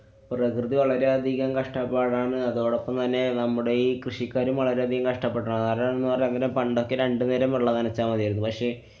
പ്രകൃതി വളരെയധികം കഷ്ട്ടപ്പാടാണ്. അതോടൊപ്പം തന്നെ നമ്മുടെ ഈ കൃഷിക്കാരും വളരെയധികം കഷ്ട്ടപ്പെട്ടാണ്. കാരണംന്നു പറയാന്‍ നേരം പണ്ടൊക്കെ രണ്ടു നേരം വെള്ളം നനച്ചാല്‍ മതിയായിരുന്നു. പക്ഷെ